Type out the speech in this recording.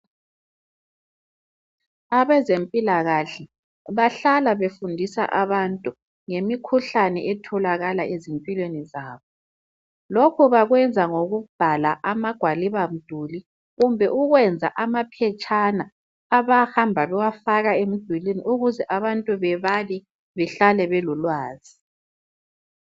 Abezempilakahle bahlala befundisa abantu ngemikhuhlane etholakala ezimpilweni zabo lokhu bakwenza ngikubhala amagwaliba mduli kumbe ukwena amaphetshana abahamba bewafaka emdulweni ukuze abantu bebale behlale belolwazi